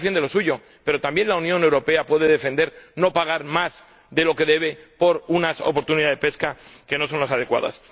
Cada cual defiende lo suyo, pero también la Unión Europea puede defender no pagar más de lo que debe por unas oportunidades de pesca que no son las adecuadas.